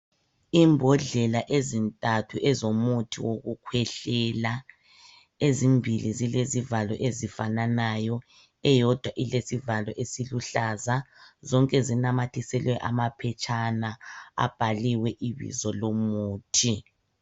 Imbodlela ezintathu ezomuthi wokukhwehlela ezimbili zilezivalo ezifananayo .Eyodwa ilesivalo esiluhlaza zonke zinamathiselwe amaphetshana abhaliwe ibizo lomuthi .